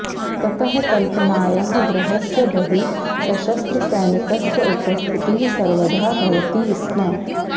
ततः कल्पनायाः गृहस्य बहिः सशस्त्रसैनिकस्य उपस्थितिः सर्वदा भवति स्म